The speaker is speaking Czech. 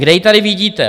Kde ji tady vidíte?